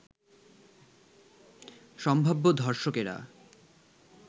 সম্ভাব্য ধর্ষকেরা